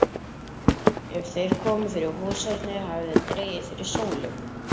Er þeir komu fyrir húshornið hafði dregið fyrir sólu.